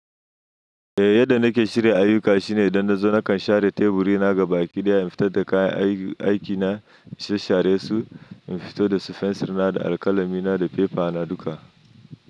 Eh, yadda nake shirya ayyuka shine idan na zo na ƙan share teburi na gaba, ƙi daya in fitad da kayan aiki na, in shshsha resu, in fito da fensur na da alƙalami na da fefa na duka.